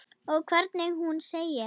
Og hvernig hún segir